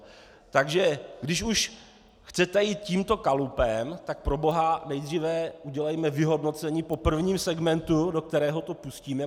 Takže když už chcete jít tímto kalupem, tak proboha nejdříve udělejme vyhodnocení po prvním segmentu, do kterého to pustíme.